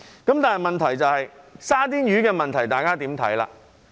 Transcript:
然而，大家如何看"沙甸魚"的問題？